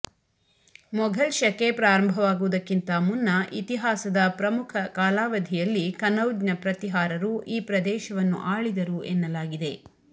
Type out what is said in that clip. ಮೊಘಲ್ ಶಕೆ ಪ್ರಾರಂಭವಾಗುವುದಕ್ಕಿಂತ ಮುನ್ನ ಇತಿಹಾಸದ ಪ್ರಮುಖ ಕಾಲಾವಧಿಯಲ್ಲಿ ಕನೌಜ್ನ ಪ್ರತಿಹಾರರು ಈ ಪ್ರದೇಶವನ್ನು ಆಳಿದರು ಎನ್ನಲಾಗಿದೆ